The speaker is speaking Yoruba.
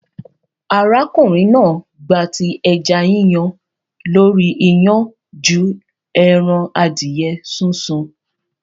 Arákùnrin náà gbati ẹja Yíyan lórí iyán ju ẹran adìẹ súnsun.